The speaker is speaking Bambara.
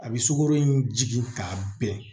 A bɛ sukoro in jigin k'a bɛn